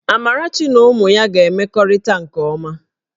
Amarachi na ụmụ ya ga-emekọrịta nke ọma